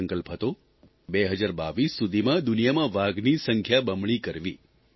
આ સંકલ્પ હતો 2022 સુધીમાં દુનિયામાં વાઘની સંખ્યા બમણી કરવી